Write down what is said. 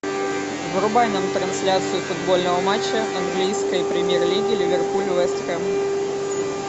врубай нам трансляцию футбольного матча английской премьер лиги ливерпуль вест хэм